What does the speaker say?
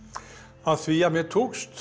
af því að mér tókst